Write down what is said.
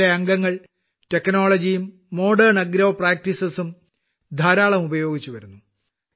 ഇതിലെ അംഗങ്ങൾ ടെക്നോളജിയും മോഡേൺ ആഗ്രോ പ്രാക്ടീസസ്സും ധാരാളം ഉപയോഗിച്ച് വരുന്നു